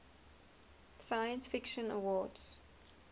science fiction awards